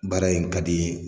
Baara in ka di